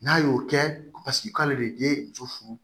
N'a y'o kɛ paseke k'ale de ye muso furu